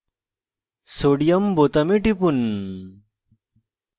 sodium na বোতামে টিপুন